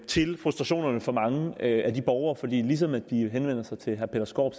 til frustrationerne fra mange af de borgere for ligesom de henvender sig til herre peter skaarup